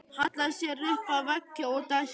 Hallaði sér upp að vegg og dæsti.